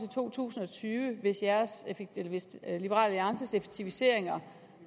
to tusind og tyve hvis liberal alliances effektiviseringer